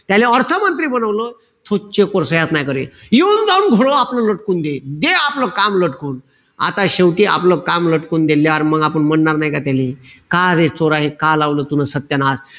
त्याले अर्थ मंत्री बनवलं. तो check वर सह्याच नाई करे. येऊन-जाऊन घोडं आपलं लटकून दे. दे आपलं काम लटकून. आता शेवटी आपलं काम लटकून दिल्यावर मंग आपण म्हणार नाई की त्याले, का रे चोरा का लावलं तून सत्यानाश.